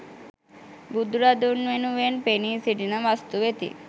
බුදුරදුන් වෙනුවෙන් පෙනී සිටින වස්තු වෙති.